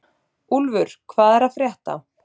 Úlfur, hvað er að frétta?